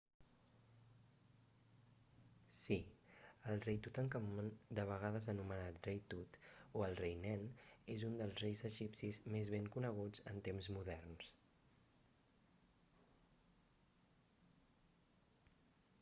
sí el rei tutankamon de vegades anomenat rei tut o el rei nen és un dels reis egipcis més ben coneguts en temps moderns